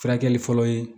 Furakɛli fɔlɔ ye